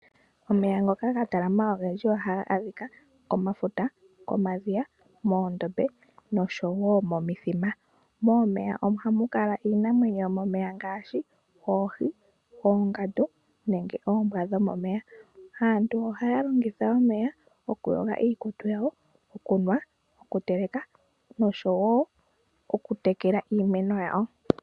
Omeya ngoka ga talama ogendji ohaga adhika momafuta, momadhiya, moondombe noshowo momithima. Momeya ohamu kala iinamwenyo yomomeya ngaashi oohi, oongandu nenge oombwa dhomomeya. Aantu ohaya longitha omeya okuyoga iikutu yawo, okunwa, okuteleka noshowo okutekela iimeno yawo.